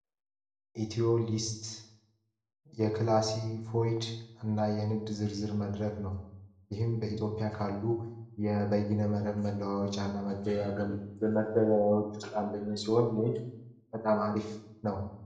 የመጀመሪያ ደረጃ እርዳታ ጉዳት በደረሰበት ቦታ ላይ በፍጥነት የሚሰጠው ህክምና ለምሳሌ ሰበር ያንን ስብራትን ለማጋገም ቅድመ ዝግጅት የሚደረግበት እንዲሁም ደግሞ የመጀመሪያ